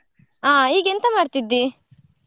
ಆ ಈಗ ಎಂತ ಮಾಡ್ತಿದ್ದಿ?